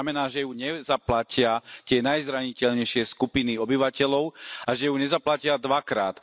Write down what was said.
To znamená, že ju nezaplatia tie najzraniteľnejšie skupiny obyvateľov a že ju nezaplatia dvakrát.